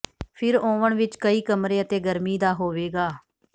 ਫਿਰ ਓਵਨ ਵਿੱਚ ਕਈ ਕਮਰੇ ਅਤੇ ਗਰਮੀ ਦਾ ਹੋਵੇਗਾ